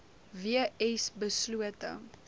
w s beslote